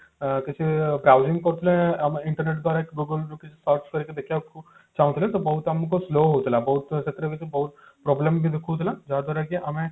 ଅ କିଛି browsing କରୁଥିଲେ ଆମେ internet ଦ୍ଵାରା କି google ରୁ କିଛି search କରି ଦେଖିବାକୁ ଚାହୁଁଥିଲେ ତ ବହୁତ ଆମକୁ slow ହଉଥିଲା ବହୁତ ସେଥିରେ ବହୁତ problem ବି ଦେଖୋଉ ଥିଲା ଯାହା ଦ୍ଵାରା କି